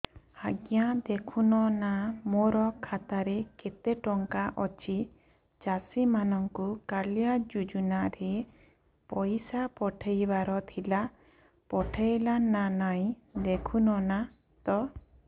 ଆଜ୍ଞା ଦେଖୁନ ନା ମୋର ଖାତାରେ କେତେ ଟଙ୍କା ଅଛି ଚାଷୀ ମାନଙ୍କୁ କାଳିଆ ଯୁଜୁନା ରେ ପଇସା ପଠେଇବାର ଥିଲା ପଠେଇଲା ନା ନାଇଁ ଦେଖୁନ ତ